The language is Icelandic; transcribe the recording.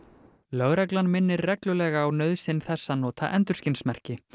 lögreglan minnir reglulega á nauðsyn þess að nota endurskinsmerki